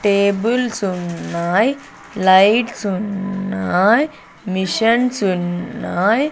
Tables ఉన్నాయ్ lights ఉన్నాయ్ machines ఉన్నాయ్.